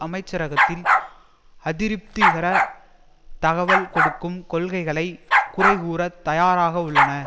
அமைச்சரகத்தில் அதிருப்திகர தகவல் கொடுக்கும் கொள்கைகளை குறைகூறத் தயாராக உள்ளனர்